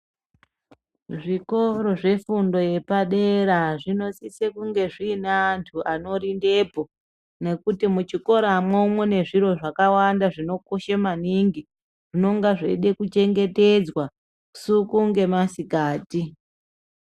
Zvikoro zve fundo ye padera zvino sise kunge zvine antu ano rindepo nekuti mu chikoramwo mune zviro zvakawanda zvino koshe maningi zvinonge zveida ku chengetedzwa usiku nge masikati.